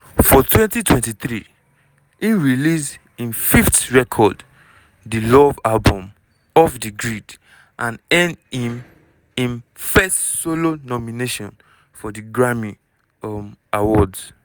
for 2023 im release im fifth record di love album: off di grid and earn im im first solo nomination for di grammy um awards.